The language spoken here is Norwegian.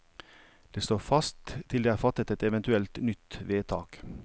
Det står fast til det er fattet et eventuelt nytt vedtak.